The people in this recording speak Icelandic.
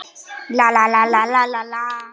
Var hlustað á okkur?